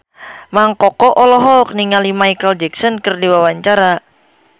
Mang Koko olohok ningali Micheal Jackson keur diwawancara